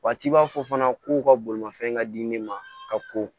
Waati b'a fɔ fana ko ka bolimafɛn ka di ne ma ka ko